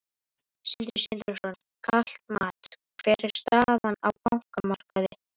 Sindri Sindrason: Kalt mat, hver er staðan á bankamarkaði?